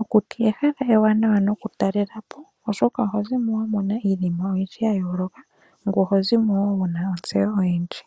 Okuti ehala ewanawa nokutalela po oshoka olina iinima oyindji ya yoolokathana ngoye oho zimo wo wuna ontseyo oyindji.